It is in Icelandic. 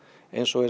eins og